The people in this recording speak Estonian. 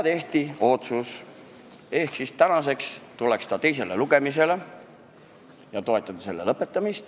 Tehti otsus, et täna tuleks eelnõu teisele lugemisele ja tuleks toetada lugemise lõpetamist.